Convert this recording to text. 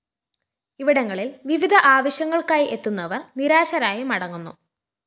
ഇവിടങ്ങളില്‍ വിവിധ ആവശ്യങ്ങള്‍ക്കായി എത്തുന്നവര്‍ നിരാശരായി മടങ്ങുന്നു